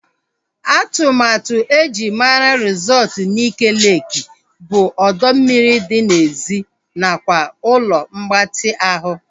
Atụmatụ eji mara resọtu Nike Leeki bụ ọdọ mmiri dị n'èzí nakwa ụlọ mgbatị ahụ